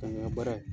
Ka n ka baara ye